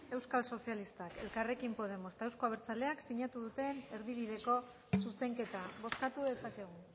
euskal sozialistak elkarrekin podemos eta euzko abertzaleak sinatu duten erdibideko zuzenketa bozkatu dezakegu